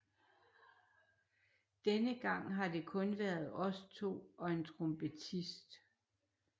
Denne gang har det kun været os to og en trompetist